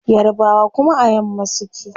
Yarbawa kuma a yamma suke